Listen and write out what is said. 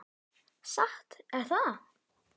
Satt er það.